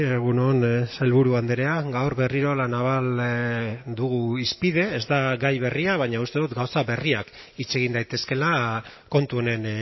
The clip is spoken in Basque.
egun on sailburu andrea gaur berriro la naval dugu hizpide ez da gai berria baina uste dut gauza berriak hitz egin daitezkeela kontu honen